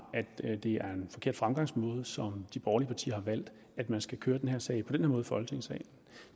at det er en forkert fremgangsmåde som de borgerlige partier har valgt at man skal køre den her sag på den i folketingssalen